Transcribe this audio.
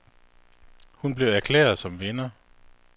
Hun blev erklæret som vinder.